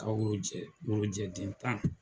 Ka worojɛ worojɛ den tan.